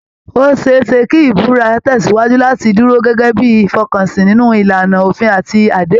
Ó ṣe é ṣe kí ìbúra tẹ̀sìwájú láti dúró gẹ́gẹ́ bí ìfọkànsìn nínú ìlànà òfin àti àdéhùn